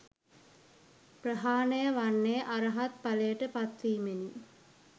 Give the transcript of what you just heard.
ප්‍රහාණය වන්නේ, අරහත් ඵලයට පත් වීමෙනි.